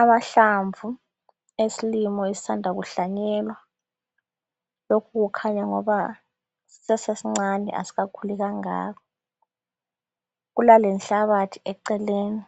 Amahlamvu eslimo esisanda kuhlanyelwa lokhu kukhanya ngoba sisasesincane asikakhuli kangako. Kulalenhlabathi eceleni